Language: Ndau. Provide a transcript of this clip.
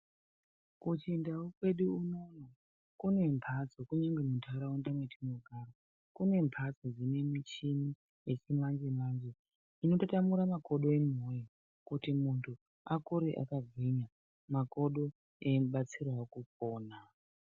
Kuchindau kwedu unono kune mbatso kunyangwe muntaraunda mwetinogara kune mbatso dzine michini yechimanje manje inotatamura makodo anhu woye kuti muntu akure akagwinya makodo eimubatsirawo kupona.